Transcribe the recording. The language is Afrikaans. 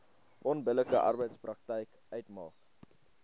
onbillike arbeidspraktyk uitmaak